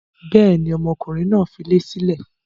Bẹ́ẹ̀ni, ọmọkùnrin náà dilé sílẹ̀.